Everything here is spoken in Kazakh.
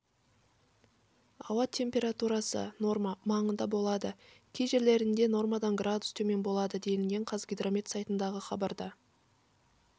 ауа температурасы норма маңында болады кей жерлерінде нормадан градус төмен болады делінген қазгидромет сайтындағы хабарда